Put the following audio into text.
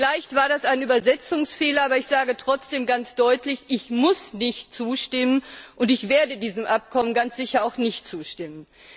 Vielleicht war das ein Übersetzungsfehler, aber ich sage trotzdem ganz deutlich, ich muss nicht zustimmen, und ich werde diesem Abkommen ganz sicher auch nicht zustimmen.